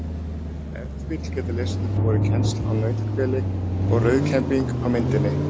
Ef til vill geta lesendur borið kennsl á nauthveli og rauðkembing á myndinni.